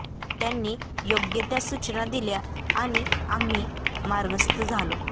त्यांनी योग्य त्या सूचना दिल्या आणि आम्ही मार्गस्थ झालो